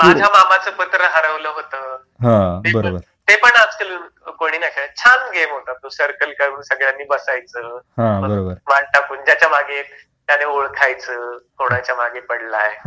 माझ्या मामाचं पत्र हरवलं आपण खेळ होता ना ते पण आजकाल कोणी नाही खेळत छान गेम होता तो सर्कल करून सगळ्यांनी बसायचं मांडा कोण ओळखायचं कोणाच्या मागे पडलाय